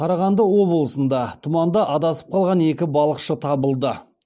қарағанды облысында тұманда адасып қалған екі балықшы табылды